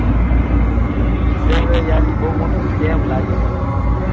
એ તો યાર બઉ મોટો સ્કેમ લાગે મને તો